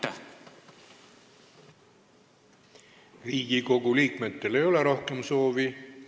Kas Riigikogu liikmetel ei ole rohkem kõnesoovi.